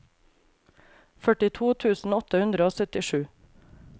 førtito tusen åtte hundre og syttisju